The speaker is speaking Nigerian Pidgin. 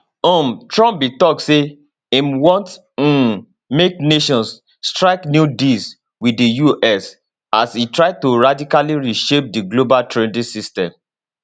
um trump bin tok say im want um make nations strike new deals wit di us as e try to radically reshape di global trading system